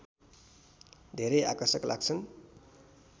धेरै आकर्षक लाग्छन्